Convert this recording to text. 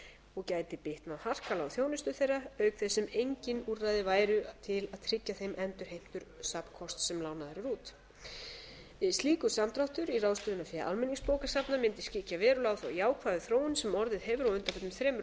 og gæti bitnað harkalega á þjónustu þeirra auk þess sem engin úrræði væru til að tryggja þeim endurheimtur safnkosts sem lánaður er út slíkur samdráttur í ráðstöfunarfé almenningsbókasafna mundi skyggja verulega á þá jákvæðu þróun sem orðið hefur á undanförnum þremur